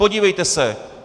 Podívejte se.